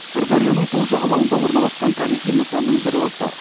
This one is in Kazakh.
сырдарияның сол жағалауында орналасқан тарихи нысанның бірі осы